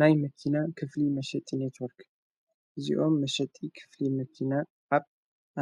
ናይ መኪና ክፍሊ መሸጢ ነትወርክ እዚኦም መሸጢ ኽፍሊ መኪና ዓብ